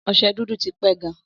Ọ̀se dùdù tí pẹ gan